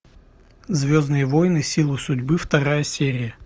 звездные войны силы судьбы вторая серия